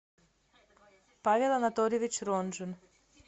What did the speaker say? павел анатольевич ронжин